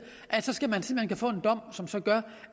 skal man se om man kan få en dom som så gør